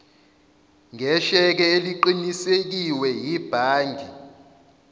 ngesheke eliqinisekiwe yibhangi